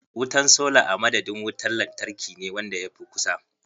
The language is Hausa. Wutan sola a madadin wuntar lantarkine wanda ya fi kusa.